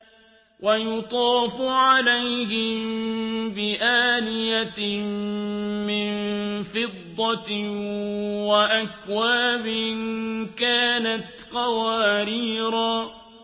وَيُطَافُ عَلَيْهِم بِآنِيَةٍ مِّن فِضَّةٍ وَأَكْوَابٍ كَانَتْ قَوَارِيرَا